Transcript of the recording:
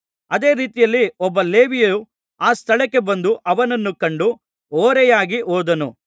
ಅದೇ ರೀತಿಯಲ್ಲಿ ಒಬ್ಬ ಲೇವಿಯು ಆ ಸ್ಥಳಕ್ಕೆ ಬಂದು ಅವನನ್ನು ಕಂಡು ಓರೆಯಾಗಿ ಹೋದನು